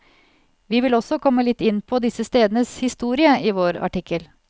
Vi vil også komme litt inn på disse stedenes historie i vår artikkel.